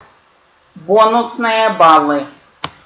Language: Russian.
бонусные баллы